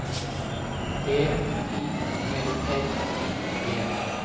B I L L I G